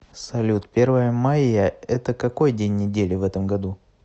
салют первое майя это какой день недели в этом году